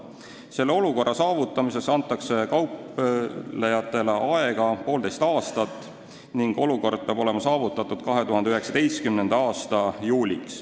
Selle olukorra saavutamiseks antakse kauplejatele aega poolteist aastat, see peab olema saavutatud 2019. aasta juuliks.